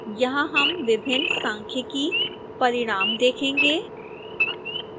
यहां हम विभिन्न सांख्यिकी परिणाम देखेंगे